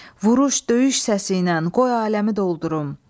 Vuruş, döyüş səsiylə qoy aləmi doldurum.